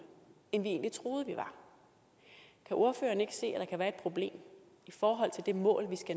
end vi egentlig troede vi var kan ordføreren ikke se at der kan være et problem i forhold til det mål vi skal